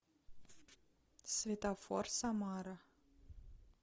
светофор самара